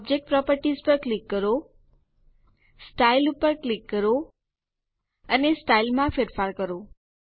object properties પર click કરો style ઉપર ક્લિક કરો અને સ્ટાઇલ માં ફેરફાર કરો